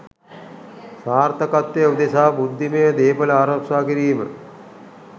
සාර්ථකත්වය උදෙසා බුද්ධිමය දේපල ආරක්ෂා කිරීම